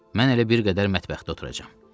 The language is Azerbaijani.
Mən elə bir qədər mətbəxdə oturacam.